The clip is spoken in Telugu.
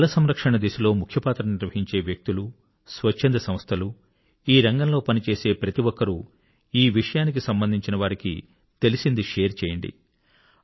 జలసంరక్షణ దిశలో ముఖ్య పాత్ర నిర్వహించే వ్యక్తులు స్వచ్ఛంద సంస్థలు ఈ రంగంలో పని చేసే ప్రతి ఒక్కరూ ఈ విషయానికి సంబంధించి వారికి తెలిసింది షేర్ చేయండి